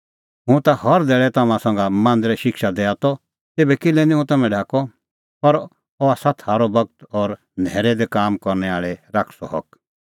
हुंह ता हर धैल़ै तम्हां संघा मांदरै शिक्षा दैआ त तेभै किल्है निं हुंह तम्हैं ढाकअ पर अह आसा थारअ बगत और न्हैरै दी काम करनै आल़ै शैतानो हक